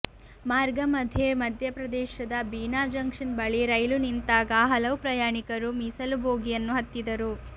ಮಾರ್ಗ ಮಧ್ಯೆ ಮಧ್ಯಪ್ರದೇಶದ ಬೀನಾ ಜಂಕ್ಷನ್ ಬಳಿ ರೈಲು ನಿಂತಾಗ ಹಲವು ಪ್ರಯಾಣಿಕರು ಮೀಸಲು ಬೋಗಿಯನ್ನು ಹತ್ತಿದ್ದರು